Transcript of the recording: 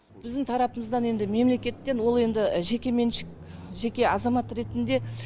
біздің тарапымыздан енді мемлекеттен ол енді жекеменшік жеке азамат ретінде